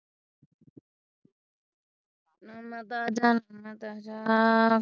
ਮੈਂ ਤੇ ਆਜਾਂ ਮੈਂ ਤੇ ਆਜਾਂ